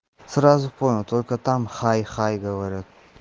сразу понял только там хай хай говорят